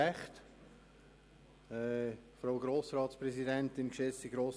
Das Wort hat Regierungsrat Käser.